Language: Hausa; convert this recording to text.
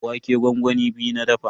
Wake gwangwami biyu na dafa.